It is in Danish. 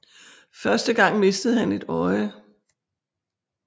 Første gang mistede han et øje